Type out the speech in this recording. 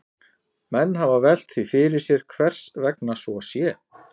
Menn hafa velt því fyrir sér hvers vegna svo sé.